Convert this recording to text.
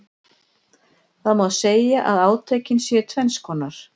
Það má segja að átökin séu tvenns konar.